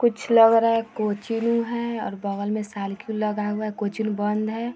कुछ लग रहा है कोचीन है और बगल में लगा हुआ है कोचिंग बंद है।